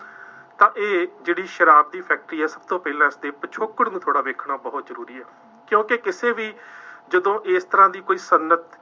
ਤਾਂ ਇਹ ਜਿਹੜੀ ਸ਼ਰਾਬ ਦੀ ਫੈਕਟਰੀ ਹੈ, ਸਭ ਤੋਂ ਪਹਿਲਾਂ ਅਤੇ ਪਿਛੋਕੜ ਵੀ ਥੋੜ੍ਹਾ ਵੇਖਣਾ ਬਹੁਤ ਜ਼ਰੂਰੀ ਹੈ, ਕਿਉਂਕਿ ਕਿਸੇ ਵੀ ਜਦੋਂ ਇਸ ਤਰ੍ਹਾਂ ਦੀ ਕੋਈ ਸਨਅਤ